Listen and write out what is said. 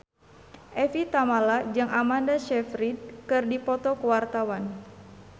Evie Tamala jeung Amanda Sayfried keur dipoto ku wartawan